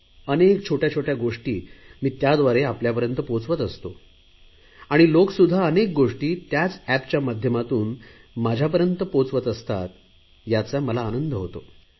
अनेक छोटया छोटया गोष्टी मी एपद्वारे आपल्यापर्यंत पोहचवत असतो लोकसुध्दा अनेक गोष्टी त्याच एपच्या माध्यमातून माझ्यापर्यंत पोहचवत असतात याचा मला आनंद होतो